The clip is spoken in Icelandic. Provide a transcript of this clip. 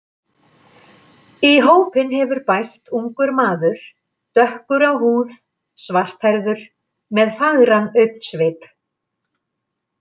Í hópinn hefur bæst ungur maður, dökkur á húð, svarthærður, með fagran augnsvip.